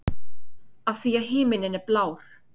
Af því að himinninn er blár.